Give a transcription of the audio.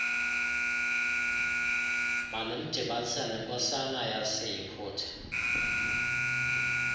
mandimdibanise nenkosana yaseyiputa